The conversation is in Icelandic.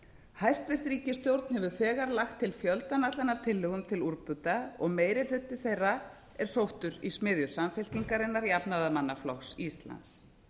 hæstvirt ríkisstjórn hefur þegar lagt til fjöldann allan af tillögum til úrbóta og meiri hluti þeirra er sóttur í smiðju samfylkingarinnar jafnaðarmannaflokks íslands